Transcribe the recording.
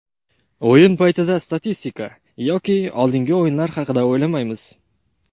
O‘yin paytida statistika yoki oldingi o‘yinlar haqida o‘ylamaymiz.